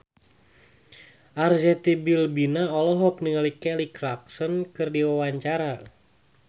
Arzetti Bilbina olohok ningali Kelly Clarkson keur diwawancara